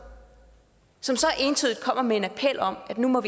som så entydigt kommer med en appel om at vi må